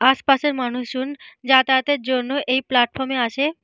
আশপাশের মানুষজন যাতায়াতের জন্য এই প্লাটফর্ম এ আসে।